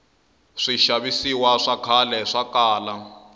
swixavisiwa swa khale swakala